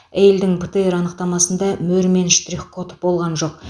әйелдің птр анықтамасында мөр мен штрих код болған жоқ